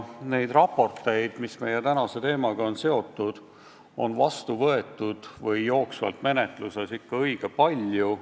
Raporteid, mis meie tänase teemaga on seotud, on vastu võetud või jooksvalt menetluses ikka õige palju.